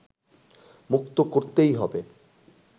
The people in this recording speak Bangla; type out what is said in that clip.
মুক্ত করতেই হবে